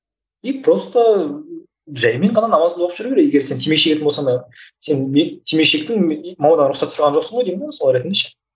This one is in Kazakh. и просто жайымен ғана намазыңды оқып жүре бер егер сен темекі шегетін болсаң молдадан рұқсат сұраған жоқсың ғой деймін де мысалы ретінде ше